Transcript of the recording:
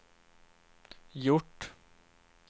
gjort